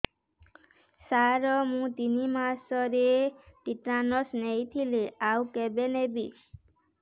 ସାର ମୁ ତିନି ମାସରେ ଟିଟାନସ ନେଇଥିଲି ଆଉ କେବେ ନେବି